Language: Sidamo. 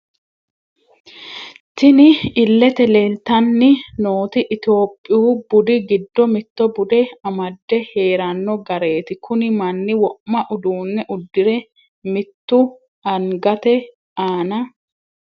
Tinni illete leelitanni nooti ittoyoopiyu budi giddo mitto bude amade heerrano gareti kunni manni wo'ma uduune uddire mittu angate aana...